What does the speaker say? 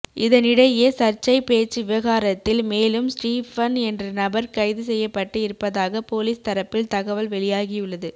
இதனிடையே சர்ச்சை பேச்சு விவகாரத்தில் மேலும் ஸ்டீபன் என்ற நபர் கைது செய்யப்பட்டு இருப்பதாக போலீஸ் தரப்பில் தகவல் வெளியாகியுள்ளது